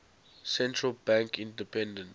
central bank independence